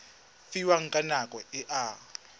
fiwang ka nako e a